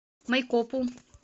майкопу